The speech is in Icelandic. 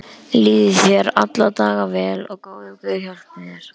Líði þér alla daga vel og góður guð hjálpi þér.